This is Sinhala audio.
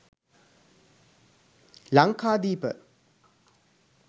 lankadepa